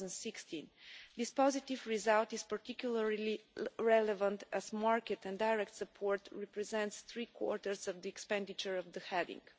2016. This positive result is particularly relevant as market and direct support represents three quarters of the expenditure of the heading.